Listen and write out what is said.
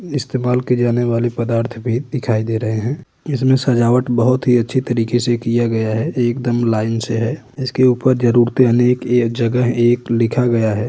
इस्तमाल की जाने वाली पदार्थ भी दिखाई दे रहे हैं। इसमें सजावट बहुत ही अच्छे तरीके से किया गया है। एकदम लाइन से है। इसके ऊपर जरूरतें अनेक ए जगह एक लिखा गया है।